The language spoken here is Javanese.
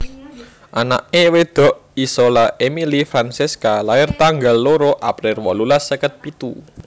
Anake wedok Isola Emily Francesca lair tanggal loro April wolulas seket pitu